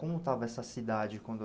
Como estava essa cidade quando...